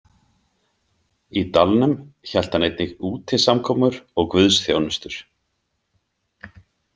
Í dalnum hélt hann einnig útisamkomur og guðsþjónustur.